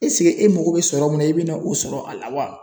esike e mago be sɔrɔ min na e be na o sɔrɔ a la wa